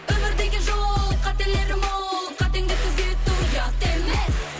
өмір деген жол қателері мол қатеңді түзету ұят емес